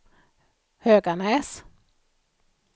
Höganäs